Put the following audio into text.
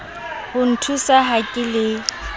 ho nthusa ha ke le